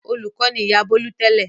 Olùkọ́ ni ìyá Bólú tẹ́lẹ̀.